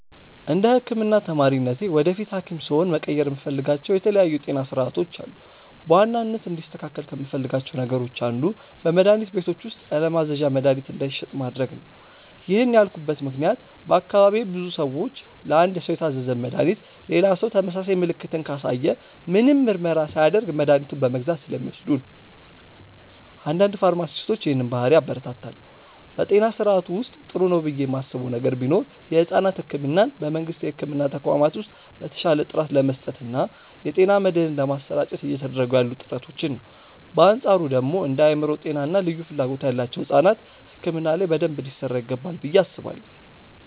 እንደ ህክምና ተማሪነቴ ወደፊት ሀኪም ስሆን መቀየር የምፈልጋቸው የተለያዩ የጤና ስርዓቶች አሉ። በዋናነት እንዲስተካከል ከምፈልጋቸው ነገሮች አንዱ በመድሀኒት ቤቶች ውስጥ ያለማዘዣ መድሀኒት እንዳይሸጥ ማድረግ ነው። ይህን ያልኩበት ምክንያት በአካባቢዬ ብዙ ሰዎች ለአንድ ሰው የታዘዘን መድሃኒት ሌላ ሰው ተመሳሳይ ምልክትን ካሳየ ምንም ምርመራ ሳያደርግ መድኃኒቱን በመግዛት ስለሚወስዱ ነው። አንዳንድ ፋርማሲስቶች ይህንን ባህሪ ያበረታታሉ። በጤና ስርዓቱ ውስጥ ጥሩ ነው ብዬ ማስበው ነገር ቢኖር የሕፃናት ሕክምናን በመንግስት የሕክምና ተቋማት ውስጥ በተሻለ ጥራት ለመስጠት እና የጤና መድህን ለማሰራጨት እየተደረጉ ያሉ ጥረቶችን ነው። በአንፃሩ ደግሞ እንደ የአእምሮ ጤና እና ልዩ ፍላጎት ያላቸው ሕፃናት ሕክምና ላይ በደንብ ሊሰራ ይገባል ብዬ አስባለሁ።